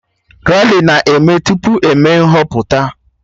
Rali na-eme tupu eme nhọpụta